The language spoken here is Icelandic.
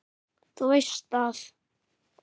Þú veist að.